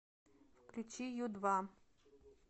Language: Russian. включи ю два